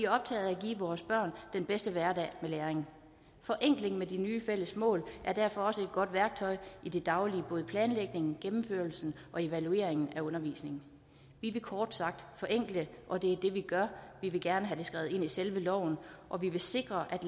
optaget af at give vores børn den bedste hverdag med læring forenklingen med de nye fælles mål er derfor også et godt værktøj i det daglige både i planlægningen gennemførelsen og evalueringen af undervisningen vi vil kort sagt forenkle og det er det vi gør vi vil gerne have det skrevet ind i selve loven og vi vil sikre at